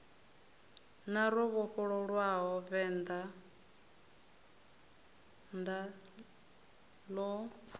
na ro vhofholowa vendḓa ḽo